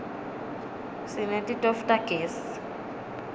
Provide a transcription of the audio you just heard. sineti tofu tagezi